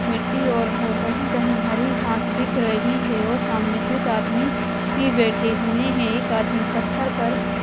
मिट्टी और है कहीं कहीं हरी घास दिख रही है और सामने कुछ आदमी ही बैठे हुए हैं एक आदमी पत्थर पर--